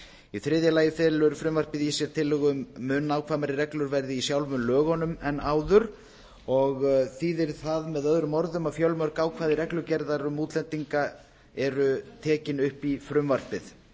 í þriðja lagi felur frumvarpið í sér tillögu um að mun nákvæmari reglur verði í sjálfum lögunum en áður og þýðir það möo að fjölmörg ákvæði reglugerðar um útlendinga eru tekin upp í frumvarpið